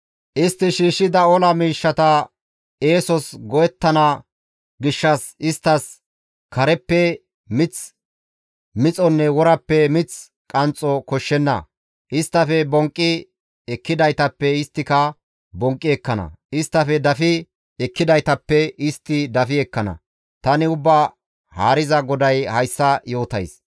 Istti shiishshida ola miishshata eesos go7ettana gishshas isttas kareppe mith mixonne worappe mith qanxxo koshshenna. Isttafe bonqqi ekkidaytappe isttika bonqqi ekkana; isttafe dafi ekkidaytappe istti dafi ekkana; tani Ubbaa Haariza GODAY hayssa yootays.